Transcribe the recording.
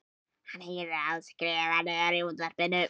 Hann heyrir að hún skrúfar niður í útvarpinu.